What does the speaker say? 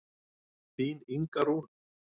Þín Inga Rún.